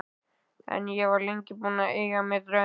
En ég var lengi búin að eiga mér draum.